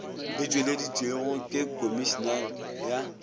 e tšweleditšego ke komišine ya